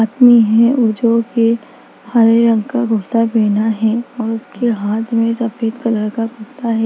आदमी है जो के हरे रंग का कुर्ता पहना है और उसके हाथ में सफेद कलर का कुर्ता है।